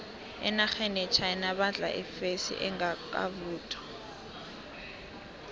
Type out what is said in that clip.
enarheni yechina badla ifesi engakavuthwa